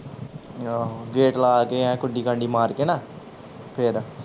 ਆਹੋ ਗੇਟ ਲਾ ਕੇ ਐਂ ਕੁੰਡੀ ਕਾਂਡੀ ਮਾਰ ਕੇ ਨਾ ਫੇਰ